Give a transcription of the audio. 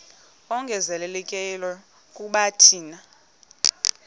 ongezelelekileyo kuba thina